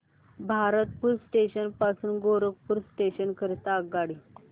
Bharatpur junction पासून Gorakhpur junction करीता आगगाडी